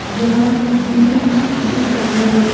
यहां blue tin दिख रहा है।